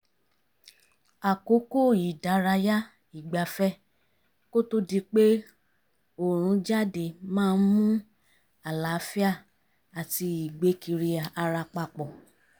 àkókò ìdárayá ìgbafẹ́ kó tó di pé òòrùn jáde maá ń mú àlààfíà àti ìgbé kiri ara papọ̀